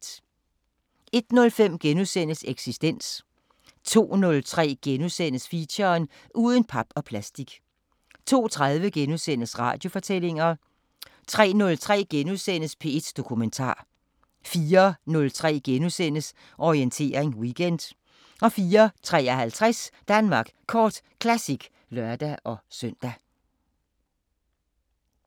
01:05: Eksistens * 02:03: Feature: Uden pap og plastik * 02:30: Radiofortællinger * 03:03: P1 Dokumentar * 04:03: Orientering Weekend * 04:53: Danmark Kort Classic (lør-søn)